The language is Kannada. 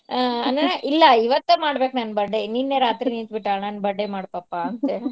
ಅಹ್ ಅನ್ನ್ ಇಲ್ಲಾ ಇವತ್ತ ಮಾಡ್ಬೇಕ್ ನನ್ birthday ನಿನ್ನೇ ರಾತ್ರಿ ನಿಂತ್ ಬಿಟ್ಟಾಳ್ ನನ್ birthday ಮಾಡ್ ಪಪ್ಪಾ ಅಂತ್ಹೇಳಿ .